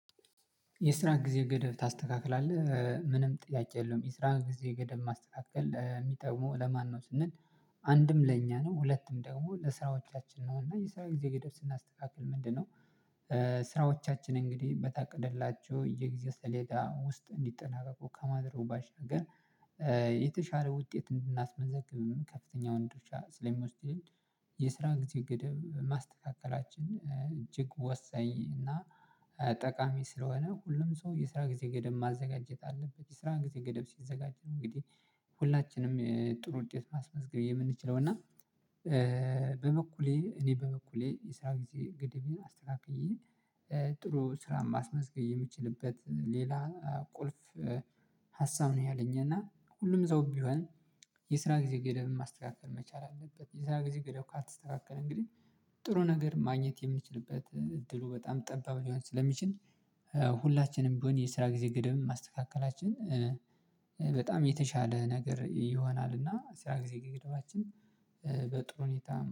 የስራ ጊዜ ገደብ ታስተካክላለህ ምንም ጥያቄ የለውም የስራ ጊዜ ገደብ ማስተካከል የሚጠቅመው ለማነው ነው ስንል? አንድም ለእኛ ነው ሁለቱም ደግሞ ለስራዎቻችን ነው እና የስራው ጊዜ ገደብ ስናስተካክል ምንድነው? ስራዎቻችን እንግዲህ በታቀደላቸው የጊዜ ስሌዳ ውስጥ እንዲጠናቀቁ ከማድረጉ ባሻገር የተሻለ ውጤት እንድናስመዘግብም ከፍተኛውን ድርሻ ስለሚወስድልን የስራ ጊዜ ገደብ ማስተካከላችን እጅግ ወሰኝ እና ጠቃሚ ስለሆነ ሁሉም ሰው የስራ ጊዜ ገደብ ማዘጋጀት አለበት የስራ ጊዜ ገደብ ሲዘጋጅ እንግዲህ ሁላችንም ጥሩ ውጤት ማስመዝገብ የምንችለው እና። በበኩሌ እኔ በበኩሌ የስራ ጊዜ ገድቤን አስተካክዬ ጥሩ ስራ ማስመዝገብ የምችልበት ሌላ ቁልፍ ሀሳብ ነው። ያለኝ እና ሁሉም ሰው ቢሆን የስራ ጊዜ ገደብም ማስተካከል መቻል አለበት። የስራ ጊዜ ገደብ ካልተስተካከለ እንግዲህ ጥሩ ነገር ማግኘት የምንችልበት እድሉ በጣም ጠባብ ሊሆን ስለሚችል ሁላችንም ቢሆን የስራ ጊዜ ግደብን ማስተካከላችን በጣም የተሻለ ነገር ይሆናል። እና ስራ ጊዜ ገደባችን በጥሩ ሁኔታ